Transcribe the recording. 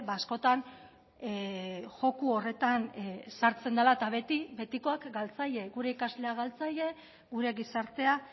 askotan joko horretan sartzen dela eta beti betikoak galtzaile gure ikasleak galtzaile gure gizartea